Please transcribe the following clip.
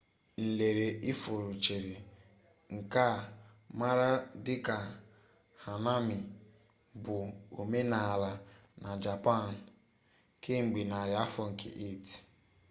nlere ifuru cheri nke a maara dị ka hanami bụ omenala na japan kemgbe nari afọ nke 8